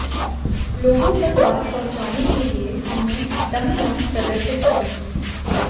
लोगों तक बात पहुंचाने के लिए हमने डमी लंग्स प्रदर्शित किए